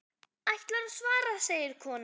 Ætlarðu að svara, segir konan.